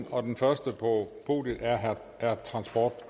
og den første på podiet er er transport